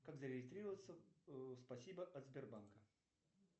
как зарегистрироваться в спасибо от сбербанка